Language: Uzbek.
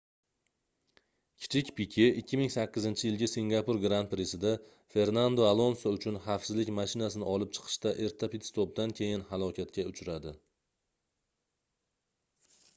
kichik pike 2008-yilgi singapur gran-prisida fernando alonso uchun xavfsizlik mashinasini olib chiqishda erta pit-stopdan keyin halokatga uchradi